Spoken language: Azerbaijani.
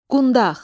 Qundaq.